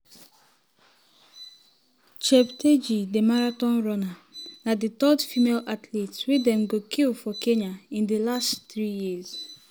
cheptegei di marathon runner na di third um female athlete wey dem go kill for kenya in di last three years.